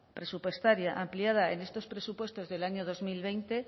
presupuestaria ampliada en estos presupuestos del año dos mil veinte